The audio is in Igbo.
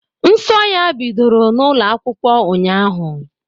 Nsọ ya bidoro n'ụlọ akwụkwọ ụnyaahụ.